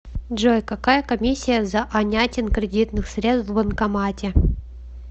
джой какая комиссия за анятин кредитных средств в банкомате